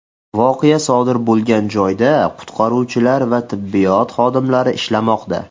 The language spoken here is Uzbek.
Voqea sodir bo‘lgan joyda qutqaruvchilar va tibbiyot xodimlari ishlamoqda.